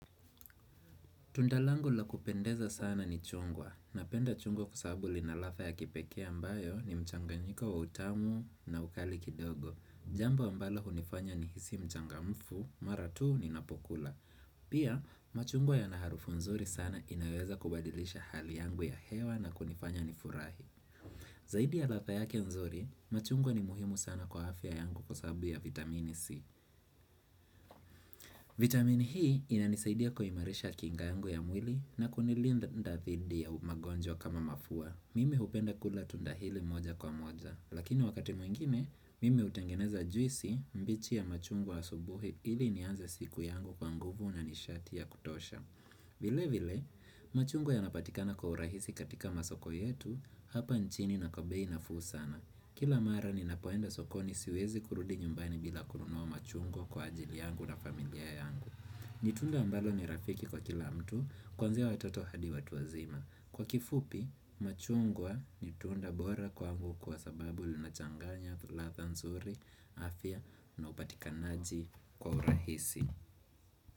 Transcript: Tunda langu la kupendeza sana ni chungwa. Napenda chungwa kwa sababu lina latha ya kipekee ambayo ni mchanganyiko wa utamu na ukali kidogo. Jambo ambalo unifanya nihisi mchangamfu mara tu ninapokula. Pia, machungwa yana harufu nzuri sana inaweza kubadilisha hali yangu ya hewa na kunifanya nifurahi. Zaidi ya latha yake nzuri, machungwa ni muhimu sana kwa afya yangu kwa sababu ya vitamini C. Vitamini hii inanisaidia kuimarisha kinga yangu ya mwili na kunilinda dhidi ya magonjwa kama mafua Mimi upenda kula tunda hili moja kwa moja lakini wakati mwingine, mimi utengeneza juisi mbichi ya machungwa asubuhi ili nianze siku yangu kwa nguvu na nishati ya kutosha. Vile vile, machungwa yanapatikana kwa urahisi katika masoko yetu hapa nchini na kwa bei nafuu sana. Kila mara ninapoenda sokoni siwezi kurudi nyumbani bila kununua machungwa kwa ajili yangu na familia yangu. Ni tunda ambalo ni rafiki kwa kila mtu, kwanzia watoto hadi watu wazima. Kwa kifupi, machungwa ni tunda bora kwangu kwa sababu linachanganya tulatha nzuri, afya na upatikanaji kwa urahisi.